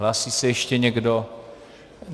Hlásí se ještě někdo?